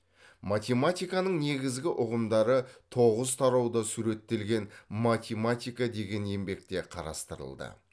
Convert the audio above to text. математиканың негізгі ұғымдары тоғыз тарауда суреттелген математика деген еңбекте қарастырылды